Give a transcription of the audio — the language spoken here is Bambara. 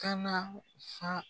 Kana sa